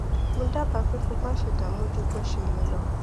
mo dábàá pé kí o máṣe dààmú ju bó ṣe yẹ lọ